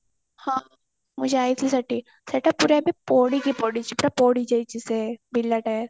ହଁ ମୁଁ ଯାଇଛି ସେଠି ସେଟା ପୁରା ଏବେ ପୋଡିକି ପଡିଛି ପୁରା ପୋଡି ଯାଇଛି ସେ ବିର୍ଲା tire